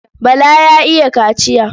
Bala ya iya kaciya.